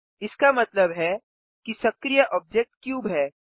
इसका मतलब है कि सक्रिय ऑब्जेक्ट क्यूब है